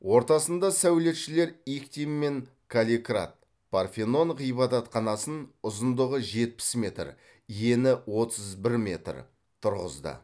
ортасында сәулетшілер иктин мен калликрат парфенон ғибадатханасын ұзындығы жетпіс метр ені отыз бір метр тұрғызды